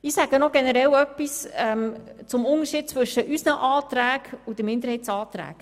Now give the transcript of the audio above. Ich sage noch generell etwas zum Unterschied zwischen unseren Anträgen und den Minderheitsanträgen: